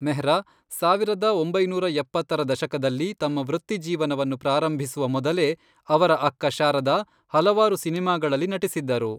ಮೆಹ್ರಾ, ಸಾವಿರದ ಒಂಬೈನೂರ ಎಪ್ಪತ್ತರ ದಶಕದಲ್ಲಿ, ತಮ್ಮ ವೃತ್ತಿಜೀವನವನ್ನು ಪ್ರಾರಂಭಿಸುವ ಮೊದಲೇ ಅವರ ಅಕ್ಕ ಶಾರದಾ ಹಲವಾರು ಸಿನೆಮಾಗಳಲ್ಲಿ ನಟಿಸಿದ್ದರು.